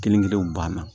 Kelen kelenw banna